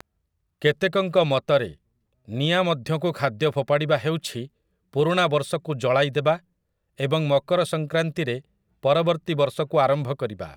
କେତେକଙ୍କ ମତରେ, ନିଆଁ ମଧ୍ୟକୁ ଖାଦ୍ୟ ଫୋଫାଡ଼ିବା ହେଉଛି ପୁରୁଣା ବର୍ଷକୁ ଜଳାଇଦେବା ଏବଂ ମକର ସଙ୍କ୍ରାନ୍ତିରେ ପରବର୍ତ୍ତୀ ବର୍ଷକୁ ଆରମ୍ଭ କରିବା ।